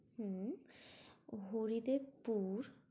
হম Haridevpur